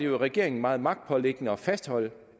regeringen meget magtpåliggende at fastholde